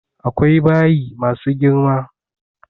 Akwai bayi ma su girma.